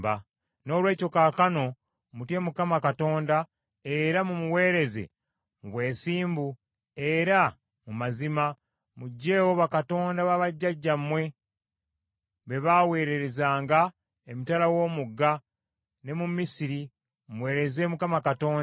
“Noolwekyo kaakano mutye Mukama Katonda era mumuweereze mu bwesimbu era mu mazima, muggyeewo bakatonda babajjajjammwe be baawererezanga emitala w’omugga ne mu Misiri, muweereze Mukama Katonda.